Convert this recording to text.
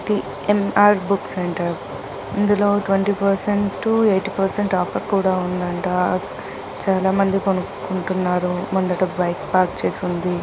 ఎమ్. R book centre ఇందులో twenty percent to eighty percent offer కూడా ఉందంట చాలా మంది కొనుక్కుంటున్నారు ముందట బైక్ పార్క్ చేసి ఉంది